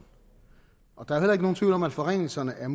der er jo heller ikke nogen tvivl om at forringelsen af